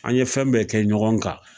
An ye fɛn bɛɛ kɛ ɲɔgɔn ka